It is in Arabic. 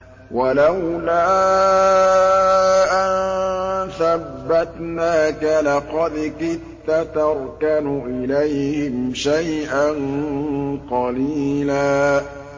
وَلَوْلَا أَن ثَبَّتْنَاكَ لَقَدْ كِدتَّ تَرْكَنُ إِلَيْهِمْ شَيْئًا قَلِيلًا